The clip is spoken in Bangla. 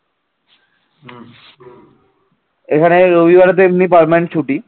এখানে রবিবারে তো এমনি permanent ছুটি